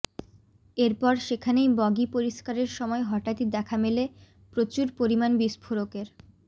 এরপর সেখানেই বগি পরিস্কারের সময় হঠাৎই দেখা মেলে প্রচুর পরিমাণ বিস্ফোরকের